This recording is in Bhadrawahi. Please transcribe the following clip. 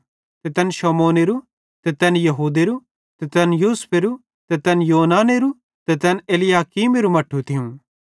ते तैन शमौनेरू ते तैन यहूदेरू ते तैन यूसुफेरो ते तैन योननेरू ते तैन एलयाकीमेरू मट्ठू थियूं